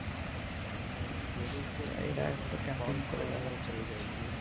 এরা একটু ক্যাম্পাইন করে বেরাচ্ছে দেখছি।